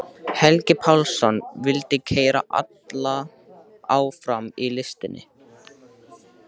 Helgi Pálsson vildi keyra alla áfram í listinni.